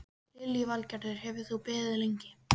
Lillý Valgerður: Hefur þú beðið lengi?